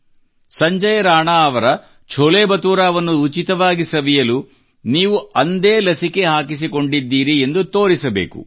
ಸಂಜಯ್ ರಾಣಾ ಅವರ ಛೋಲೆ ಬಟುರಾವನ್ನು ಉಚಿತವಾಗಿ ಸವಿಯಲು ಅಂದೇ ನೀವು ಲಸಿಕೆ ಹಾಕಿಸಿಕೊಂಡಿದ್ದೀರಿ ಎಂದು ತೋರಿಸಬೇಕು